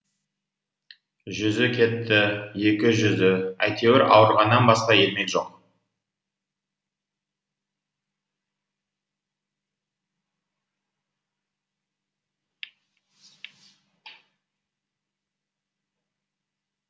жүзі кетті екі жүзі әйтеуір ауырғаннан басқа ермек жоқ